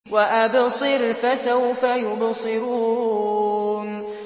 وَأَبْصِرْ فَسَوْفَ يُبْصِرُونَ